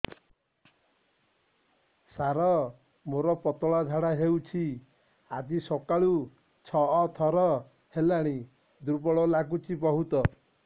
ସାର ମୋର ପତଳା ଝାଡା ହେଉଛି ଆଜି ସକାଳୁ ଛଅ ଥର ହେଲାଣି ଦୁର୍ବଳ ଲାଗୁଚି ବହୁତ